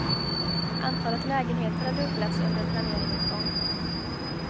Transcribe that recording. Antalet lägenheter har dubblats under planeringens gång.